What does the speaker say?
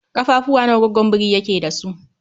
Ƙafafuwa nawa goggon biri yake da su?